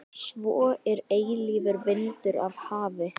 Svo er eilífur vindur af hafi.